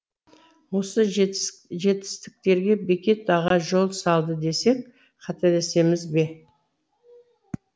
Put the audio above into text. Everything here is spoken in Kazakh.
осы жетістіктерге бекет аға жол салды десек қателесеміз бе